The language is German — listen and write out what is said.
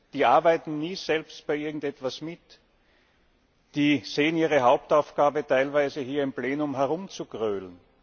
Die arbeiten nie selbst bei irgendetwas mit, die sehen ihre Hauptaufgabe teilweise darin, hier im Plenum herumzugrölen.